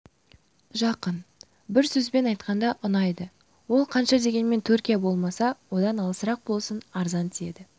жақын бір сөзбен айтқанда ұнайды ол қанша дегенмен түркия болмаса одан алысырақ болсын арзан тиеді